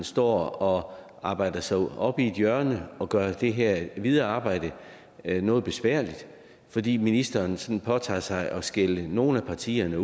står og arbejder sig op i et hjørne og gør det her videre arbejde noget besværligt fordi ministeren sådan påtager sig at skælde nogle af partierne